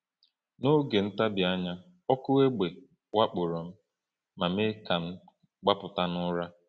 N’oge ntabi anya, ọkụ egbe wakporo m ma mee ka m gbapụta n’ụra.